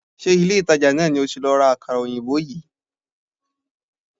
Ṣé ilé-ìtàjà náà ni o ti lọ ra àkàrà òyìnbó yìí?